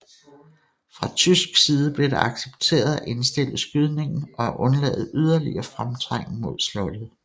Fra tysk side blev det accepteret at indstille skydningen og at undlade yderligere fremtrængen mod slottet